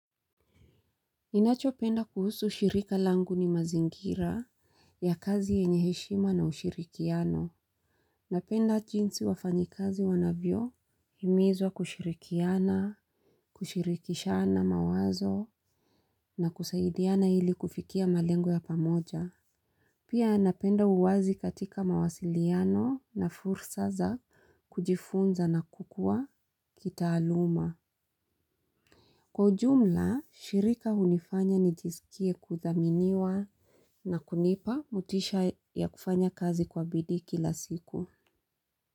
Ninachopenda kuhusu shirika langu ni mazingira, ya kazi, yenye heshima na ushirikiano. Napenda jinsi wafanyikazi wanavyo himizwa kushirikiana, kushirikishana mawazo na kusaidiana ili kufikia malengo ya pamoja. Pia, napenda uwazi katika mawasiliano. Na fursa za kujifunza na kukua kitaaluma. Kwa ujumla, shirika hunifanya nijisikie kudhaminiwa na kunipa mutisha ya kufanya kazi kwa bidii kila siku.